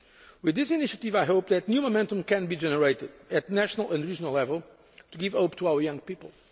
With this initiative, I hope that new momentum can be generated at national and regional level to give hope to our young people.